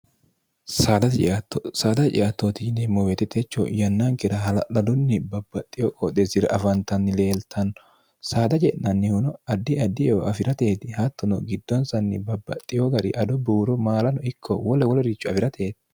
saada ciattooti yineemmo weetitecho yannaankira hala'ladunni babbaxxiyo qooxe sira afantanni leeltanno saada je'nannihuno addi addieo afi'rateeti hattuno giddoonsanni babbaxxiyo gari ado buuro maalano ikko wola woloricho afi'rateeti